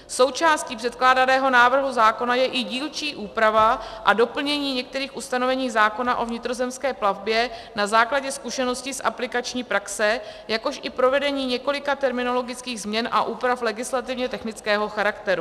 Součástí předkládaného návrhu zákona je i dílčí úprava a doplnění některých ustanovení zákona o vnitrozemské plavbě na základě zkušeností z aplikační praxe, jakož i provedení několika terminologických změn a úprav legislativně technického charakteru.